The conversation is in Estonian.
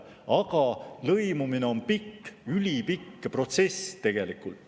Aga lõimumine on pikk, ülipikk protsess.